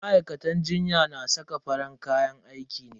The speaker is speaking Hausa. Ma'aikatan jinya na saka farin kayan aiki ne.